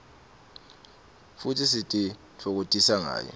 futsi sititfokotisa ngayo